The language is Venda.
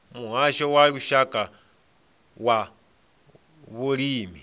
muhasho wa lushaka wa vhulimi